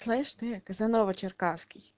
слышишь ты казанова черкасский